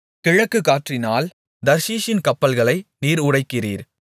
கிழக்கு காற்றினால் தர்ஷீசின் கப்பல்களை நீர் உடைக்கிறீர்